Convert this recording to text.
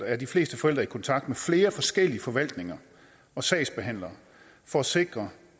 er de fleste forældre i kontakt med flere forskellige forvaltninger og sagsbehandlere for at sikre